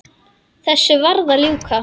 Þessu varð að ljúka.